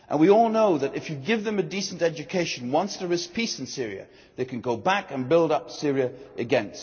We all know that if you give them a decent education, once there is peace in Syria, they can go back and build up Syria again.